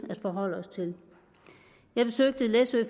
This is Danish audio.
jeg besøgte læsø